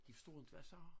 De forstår inte hvad jeg siger